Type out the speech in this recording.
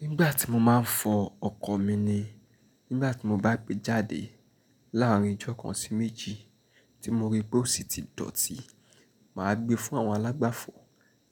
Nígbà tí mo máa ń fọ ọkọ̀ mi ni, nígbà tí mo bá gbé jáde láàárín ijọ́ kan sí méjì tí mo rí pé ó sì ti dọ̀tí, màá gbé fún àwọn alágbàfọ̀